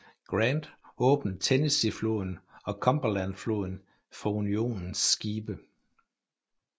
Grant åbner Tennesseefloden og Cumberlandfloden for Unionens skibe